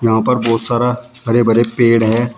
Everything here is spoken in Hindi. यहां पर बहोत सारा हरे भरे पेड़ है।